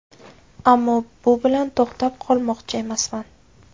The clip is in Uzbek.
Ammo bu bilan to‘xtab qolmoqchi emasman.